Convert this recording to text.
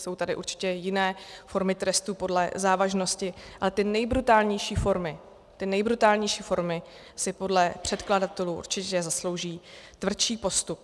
Jsou tady určitě jiné formy trestu podle závažnosti, ale ty nejbrutálnější formy si podle předkladatelů určitě zaslouží tvrdší postup.